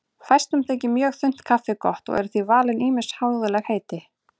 Fæstum þykir mjög þunnt kaffi gott og eru því valin ýmis háðuleg heiti.